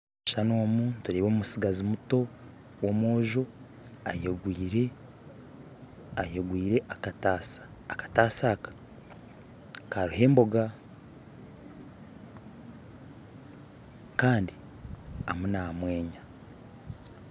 Omukishushani omu turebamu omutsigazi omuto, omwojo ayegwire ayegwire akataasa, akataasa aka kariho emboga Kandi arimu namwenya